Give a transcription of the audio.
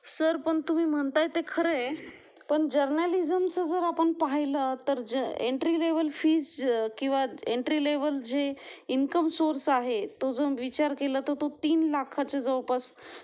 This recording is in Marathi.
सर पण तुम्ही म्हणताय ते खरे पण जर्नालिझमचं जर आपण पाहिलं तर एंट्री लेव्हल फीज किवा एंट्री लेव्हल जी इन्कम सोर्स आहे तो विचार केला तर तो तीन लाखांच्या जवळपास